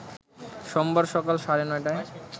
সোমবার সকাল সাড়ে ৯টায়